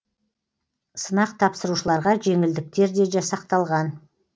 сынақ тапсырушыларға жеңілдіктер де жасақталған